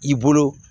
I bolo